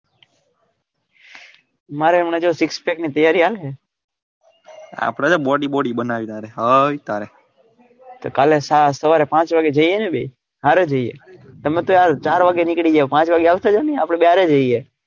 મારે હંમણાં કેવું six pack ની તૈયારી હાલે આપડે ક્યાં body body બનાવી તારે હૈ તારે કાલે સવારે પાંચ વાગે જઈએ ને બે હરે જઈએ તમે તો ય ચાર વાગે નિકડી જાઓ પાંચ વાગે આવજો ને આપડે બંન્ને હરે જઈએ.